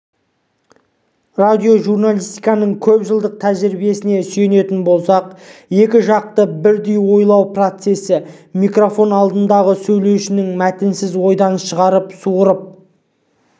радиожурналистиканың көпжылдық тәжірибесіне сүйенетін болсақ екі жақты бірдей ойлану процесі микрофон алдындағы сөйлеушінің мәтінсіз ойдан шығарып суырып